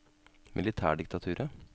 militærdiktaturet